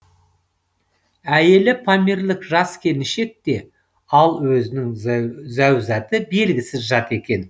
әйелі памирлік жас келіншек те ал өзінің зәузаты белгісіз жат екен